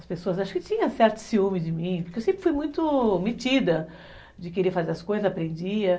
As pessoas, acho que tinha certo ciúme de mim, porque eu sempre fui muito metida de querer fazer as coisas, aprendia.